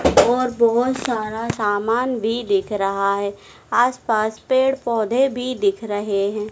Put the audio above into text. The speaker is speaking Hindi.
और बहोत सारा सामान भी दिख रहा है आसपास पेड़ पौधे भी दिख रहे हैं।